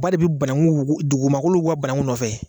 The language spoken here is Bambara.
Ba de banangu wugu dugumakolo wuguba banangu nɔfɛ